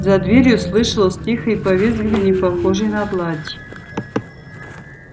за дверью слышалось тихое повизгиванье похоже на плач